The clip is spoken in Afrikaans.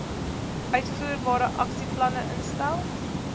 uitvoerbare aksieplanne instel